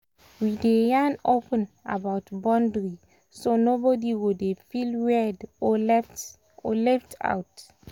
we dey yarn open about boundary so nobody go dey feel weird or left or left out.